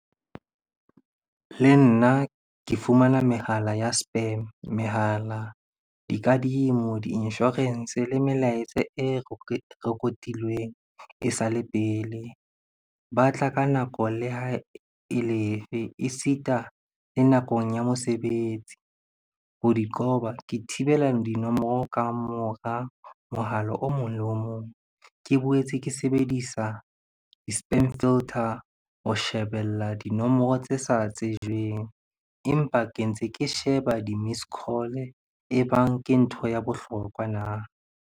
Le nna ke fumana mehala ya spam, mehala, dikadimo, di-insurance le melaetsa e record-ilweng e sale pele. Ba tla ka nako le hae e le e fe, e sita le nakong ya mosebetsi. Ho di qoba, ke thibela dinomoro ka mora mohala o mong le o mong. Ke boetse ke sebedisa di-spam filter ho shebella dinomoro tse sa tsejweng, empa ke ntse ke sheba di-missed call-e ebang ke ntho ya bohlokwa na?